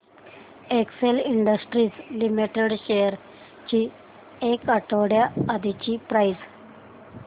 Excel Industries Limited shares ची एक आठवड्या आधीची प्राइस